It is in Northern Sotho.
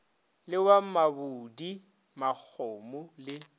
le wa mabudi magomo le